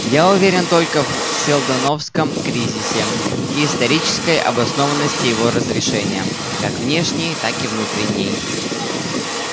я уверен только в сэлдоновском кризисе и исторической обоснованности его разрешения как внешней так и внутренней